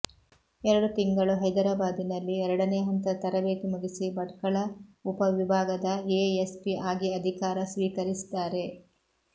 ಎರಡು ತಿಂಗಳು ಹೈದರಬಾದಿನಲ್ಲಿ ಎರಡನೇ ಹಂತದ ತರಬೇತಿ ಮುಗಿಸಿ ಭಟ್ಕಳ ಉಪವಿಭಾಗದ ಎಎಸ್ಪಿ ಆಗಿ ಅಧಿಕಾರ ಸ್ವೀಕರಿಸಿದ್ದಾರೆ